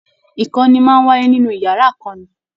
Ìkọ́ni máa n wáyé nínú yàrá ìkọ́ni.